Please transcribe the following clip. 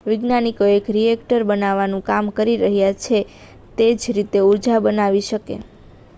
વૈજ્ઞાનિકો એક રિએક્ટર બનાવવાનું કામ કરી રહ્યા છે જે તે જ રીતે ઊર્જા બનાવી શકે